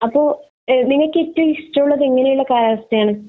അപ്പോൾ നിങ്ങൾക്ക് ഏറ്റവും ഇഷ്ടമുള്ളത് എങ്ങനെയുള്ള കാലാവസ്ഥയാണ്?